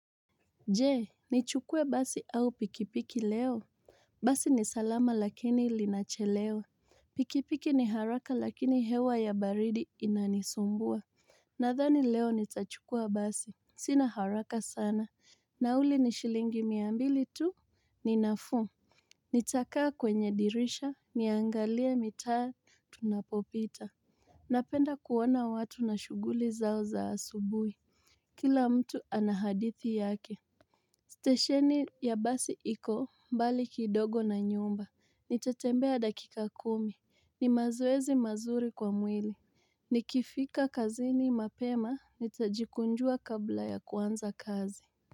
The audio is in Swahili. Je nichukue basi au pikipiki leo Basi ni salama lakini linachelewa pikipiki ni haraka lakini hewa ya baridi inanisumbua Nathani leo nitachukua basi Sina haraka sana Nauli ni shilingi mia mbili tu ni nafuu Nitakaa kwenye dirisha niangalie mitaa tunapopita Napenda kuona watu na shughuli zao za asubuhi Kila mtu anahadithi yake Stesheni ya basi iko, mbali kidogo na nyumba, nitatembea dakika kumi, ni mazoezi mazuri kwa mwili, nikifika kazini mapema, nitajikunjua kabla ya kuanza kazi.